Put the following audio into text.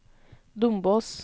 Dombås